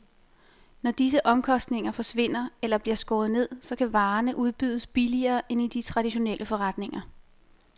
Når disse omkostninger forsvinder eller bliver skåret ned, så kan varerne udbydes billigere end i de traditionelle forretninger.